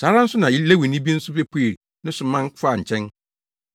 Saa ara nso na Lewini bi nso bepuee ne so man faa nkyɛn.